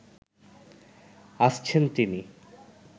আসছেন তিনি